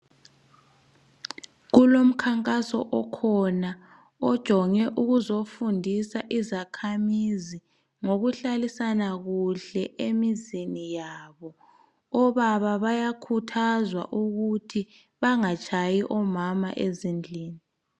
Kulomkhankaso okhona ojonge ukuzofundisa izakhamizi ngokuhlalisana kuhle emizini yabo. Obaba bayakhuthazwa ukuthi bangatshayi omama ezindlini.